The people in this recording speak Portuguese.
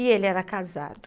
E ele era casado.